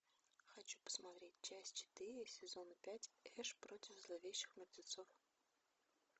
хочу посмотреть часть четыре сезона пять эш против зловещих мертвецов